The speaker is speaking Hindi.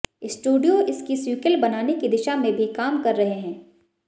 स्टूडियो इसकी सीक्वेल बनाने की दिशा में भी काम कर रहे हैं